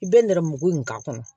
I bɛ nɛrɛmugu in k'a kɔnɔ